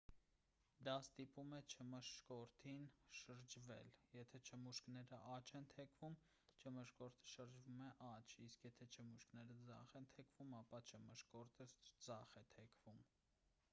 դա ստիպում է չմշկորդին շրջվել եթե չմուշկները աջ են թեքվում չմշկորդը շրջվում է աջ իսկ եթե չմուշկները ձախ են թեքվում ապա չմշկորդը ձախ է թեքվում